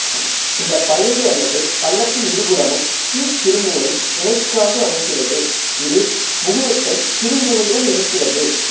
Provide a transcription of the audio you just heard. இந்தப் பயம்பு அல்லது பள்ளத்தின் இருபுறமும் கீழ்ச் சிறுமூளை இணைகாம்பு அமைகிறது இது முகுளத்தைச் சிறுமூளையுடன் இணைக்கிறது